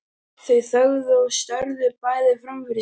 Þau þögðu og störðu bæði fram fyrir sig.